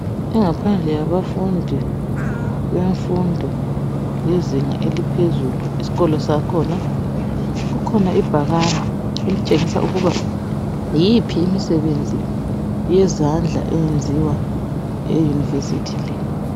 Ingaphandle yabafundi bemfundo yezinga eliphezulu isikolo sakhona kukhona ibhakane elitshengisa ukuba yiphi imisebenzi yezandla eyenziwa euniversity le.